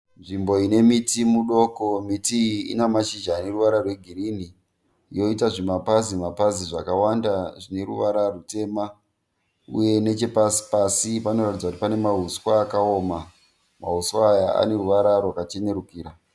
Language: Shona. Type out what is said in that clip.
Nzvimbo ine miti mudoko. Miti iyi Ina mashizha ane ruvara rwegirini yoita zvimapazi zvimapazi zvakawanda zvine ruvara rutema uye nechepasi pasi panoratidza kuti pane mahuswa akaoma, mahuswa Aya ane ruvara rwakachenurikira